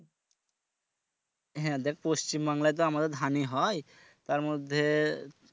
হ্যাঁ দেখ পশ্চিমবঙ্গে তো আমাদের ধানই হয় তার মধ্যে